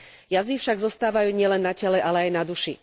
Jazvy však zostávajú nielen na tele, ale aj na duši.